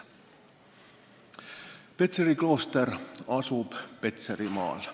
Petseri klooster asub Petserimaal.